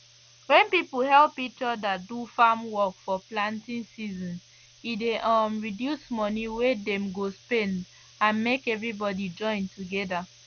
when people help each other do farm work for planting season e dey um reduce money wey dem go spend and make everybody join together